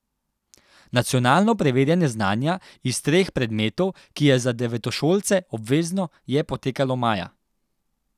Nacionalno preverjanje znanja iz treh predmetov, ki je za devetošolce obvezno, je potekalo maja.